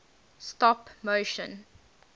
stop motion